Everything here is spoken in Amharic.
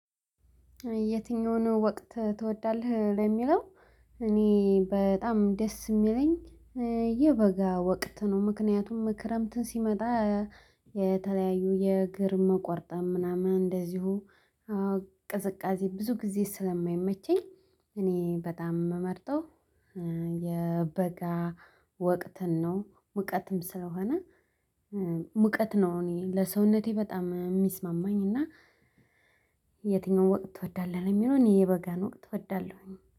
የትኛውን ወቅት ትወዳለህ ለሚለው? እኔ በጣም ደስ የሚለኝ የበጋ ወቅት ነው። ምክንያቱም ክረምትን ሲመጣ የተለያዩ የእግር መቆርጠም ምናምን እንደዚሁ ቅዝቃዜ ብዙ ጊዜ ስለማይመቸኝ። እኔ በጣም የምመርጠው የበጋ ወቅትን ነው። ሙቀትም ስለሆነ ሙቀት ነው እኔ ለሰውነቴ በጣም የሚስማማኝ እና። የትኛውም ወቅት ትወዳለህ ለሚለው? እኔ የበጋን ወቅት እወዳለሁኝ